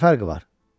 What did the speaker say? Nə fərqi var?